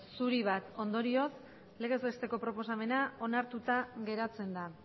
zuri bat ondorioz legez besteko proposamena onartuta geratzen da